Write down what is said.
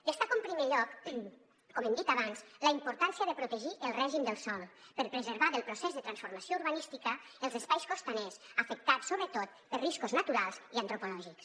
destaco en primer lloc com hem dit abans la importància de protegir el règim del sòl per preservar del procés de transformació urbanística els espais costaners afectats sobretot per riscos naturals i antròpics